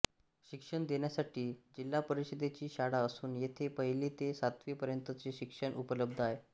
शिक्षण देण्यासाठी जिल्हा परिषदेची शाळा असून येथे पहिली ते सातवी पर्यंत चे शिक्षण उपलब्ध आहे